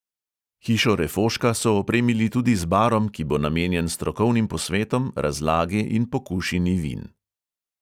Hišo refoška so opremili tudi z barom, ki bo namenjen strokovnim posvetom, razlagi in pokušini vin.